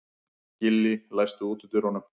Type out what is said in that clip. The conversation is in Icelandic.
Gillý, læstu útidyrunum.